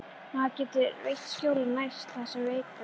Maður getur veitt skjól og nært það sem er veikburða.